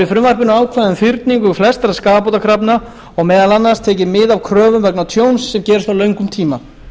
frumvarpinu ákvæði um fyrningu flestra skaðabótakrafna og meðal annars tekið mið af kröfum vegna tjóns sem gerist á löngum tíma